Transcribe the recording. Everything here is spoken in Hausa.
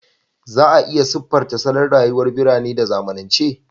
Za a iya siffanta salon rayuwar birane da zamanance